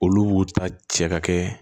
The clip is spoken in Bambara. Olu b'u ta cɛ ka kɛ